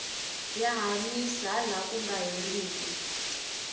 ya hanyisa ha laha ku nga herika